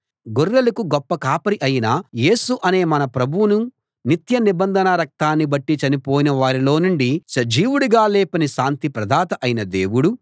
గొర్రెలకు గొప్ప కాపరి అయిన యేసు అనే మన ప్రభువును నిత్య నిబంధన రక్తాన్ని బట్టి చనిపోయిన వారిలో నుండి సజీవుడిగా లేపిన శాంతి ప్రదాత అయిన దేవుడు